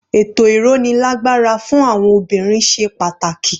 Ètò ìrónilágbára fún àwọn obìnrin ṣe pàtàkì.